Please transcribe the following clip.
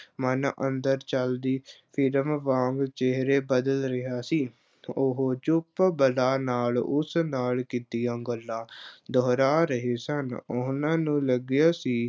ਮਨ ਅੰਦਰ ਚੱਲਦੀ ਫ਼ਿਲਮ ਵਾਂਗ ਚਿਹਰੇ ਬਦਲ ਰਿਹਾ ਸੀ, ਉਹ ਚੁੱਪ ਬੁੱਲ੍ਹਾਂ ਨਾਲ, ਉਸ ਨਾਲ ਕੀਤੀਆਂ ਗੱਲਾਂ ਦੁਹਰਾ ਰਹੇ ਸਨ, ਉਹਨਾਂ ਨੂੰ ਲੱਗਿਆ ਸੀ